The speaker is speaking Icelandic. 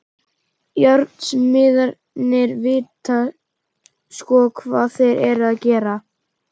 Járnsmiðirnir vita sko hvað þeir eru að gera.